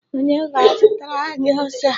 Onye ga-azụtara anyi ose a?